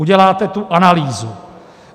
Uděláte tu analýzu.